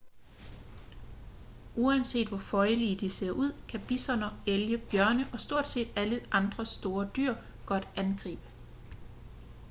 uanset hvor føjelige de ser ud kan bisoner elge bjørne og stort set alle store dyr godt angribe